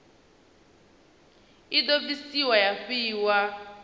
i do bvisiwa ya fhiwa